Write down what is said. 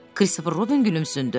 Kristofer Robin gülümsündü.